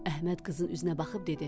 Əhməd qızın üzünə baxıb dedi: